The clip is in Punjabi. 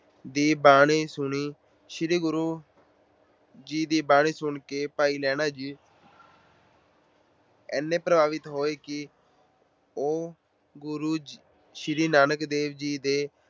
ਦੀ ਬਾਣੀ ਸੁਣੀ। ਸ਼੍ਰੀ ਗੁਰੂ ਜੀ ਦੀ ਬਾਣੀ ਸੁਣ ਕੇ ਭਾਈ ਲਹਿਣਾ ਜੀ ਇੰਨੇ ਪ੍ਰਭਾਵਿਤ ਹੋਏ ਕਿ ਉਹ ਸ਼੍ਰੀ ਗੁਰੂ ਨਾਨਕ ਦੇਵ ਜੀ ਦੇ